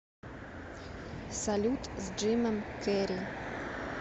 салют с джимом керри